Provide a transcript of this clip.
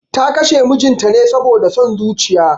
Ta kashe mijinta ne saboda son zuciya